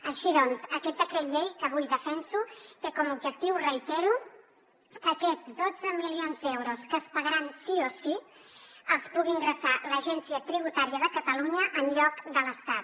així doncs aquest decret llei que avui defenso té com a objectiu ho reitero que aquests dotze milions d’euros que es pagaran sí o sí els pugui ingressar l’agència tributària de catalunya en lloc de l’estat